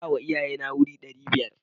Na bawa iyaye na wuri ɗari biyar.